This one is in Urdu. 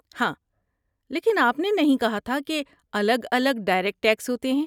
ہاں، لیکن آپ نے نہیں کہا تھا کہ الگ الگ ڈائریکٹ ٹیکس ہوتے ہیں؟